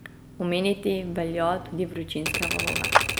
Omeniti velja tudi vročinske valove.